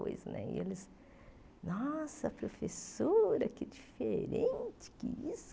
Pois né eles, nossa, professora, que diferente, que isso